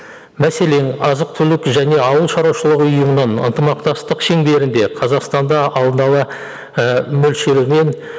мәселен азық түлік және ауыл шаруашылығы ұйымының ынтымақтастық шеңберінде қазақстанда алдын ала і мөлшерінен